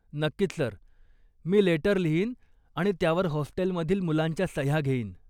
नक्कीच सर, मी लेटर लिहीन आणि त्यावर हॉस्टेलमधील मुलांच्या सह्या घेईन.